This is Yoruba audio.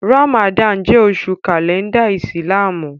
Ràmàdánù jẹ́ oṣù kàlẹ́ndà ìsìlámù